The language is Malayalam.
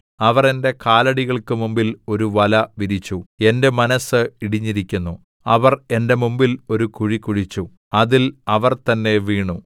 അവർ എന്റെ കാലടികൾക്ക് മുമ്പിൽ ഒരു വല വിരിച്ചു എന്റെ മനസ്സ് ഇടിഞ്ഞിരിക്കുന്നു അവർ എന്റെ മുമ്പിൽ ഒരു കുഴി കുഴിച്ചു അതിൽ അവർ തന്നെ വീണു സേലാ